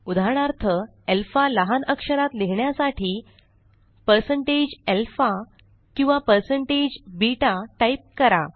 उदाहरणार्थ अल्फा लहान अक्षरात लिहिण्यासाठी 160alpha किंवा 160beta टाइप करा